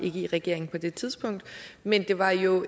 ikke i regering på det tidspunkt men det var jo